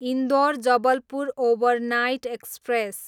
Indore, Jabalpur overnight express